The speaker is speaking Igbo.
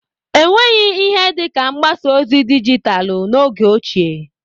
Enweghị ihe dịka mgbasa ozi dijitalû n'oge ochie.